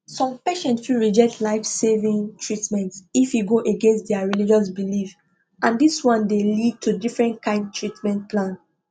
some patients fit reject life saving treatment if e go against their religious belief and this one dey lead to different kind treatment plan